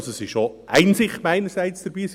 es ist also auch Einsicht meinerseits dabei.